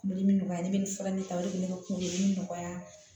Kungolo min nɔgɔya ne bɛ nin fura in ta o de bɛ ne ka kuludimi nɔgɔya